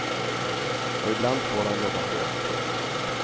Och ibland får han jobba hårt.